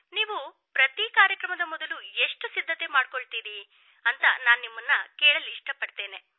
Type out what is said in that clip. ನೀವು ಪ್ರತಿ ಕಾರ್ಯಕ್ರಮದ ಮೊದಲು ಎಷ್ಟು ಸಿದ್ಧತೆ ಮಾಡಿಕೊಳ್ಳುತ್ತೀರಿ ಎಂದು ನಾನು ನಿಮ್ಮನ್ನು ಕೇಳಲು ಇಷ್ಟಪಡುತ್ತೇನೆ